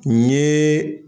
N ɲe